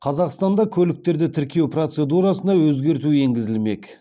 қазақстанда көліктерді тіркеу процедурасына өзгерту енгізілмек